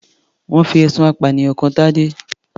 Wọ́n fi ẹ̀sùn ìpànìyàn kan Tadé.